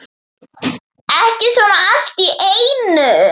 Ekki svona allt í einu.